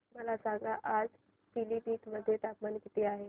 मला सांगा आज पिलीभीत मध्ये तापमान किती आहे